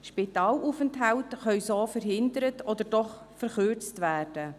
Spitalaufenthalte können so verhindert oder doch verkürzt werden.